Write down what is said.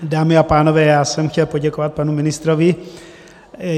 Dámy a pánové, já jsem chtěl poděkovat panu ministrovi.